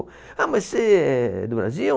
Ah, mas você é do Brasil?